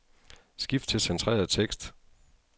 Skift til centreret tekst.